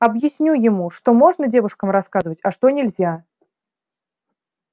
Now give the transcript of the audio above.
объясню ему что можно девушкам рассказывать а что нельзя